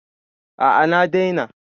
A'a na daina